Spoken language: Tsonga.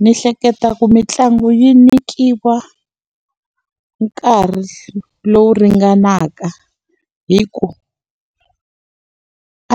Ndzi hleketa ku mitlangu yi nyikiwa nkarhi lowu ringanaka. Hikuva